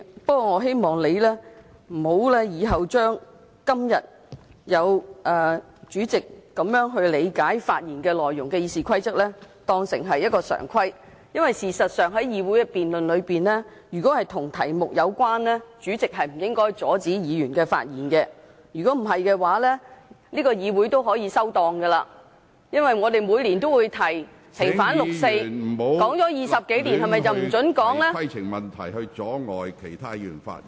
不過，我希望你今天根據《議事規則》這樣理解發言內容的做法，日後不會變成常規，因為事實上在議會的辯論中，如果與議題有關，主席不應該阻止議員發言，否則這個議會大可以"收檔"，因為我們每年均提出"平反六四"的議案，這議題討論了20多年，是否便不容許再討論呢？